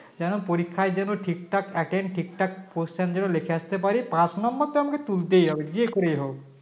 যেন পরীক্ষায় যেন ঠিকঠাক Attend ঠিকঠাক question যেন লিখে আসতে পারি পাশ number টা আমাকে তুলতেই হবে যে করে হোক